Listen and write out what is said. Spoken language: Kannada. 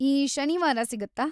ಈ ಶನಿವಾರ ಸಿಗತ್ತಾ?